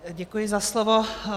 Děkuji za slovo.